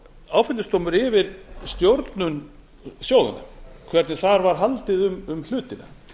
áfellisdómur yfir stjórnum sjóðanna hvernig þar var haldið um hlutina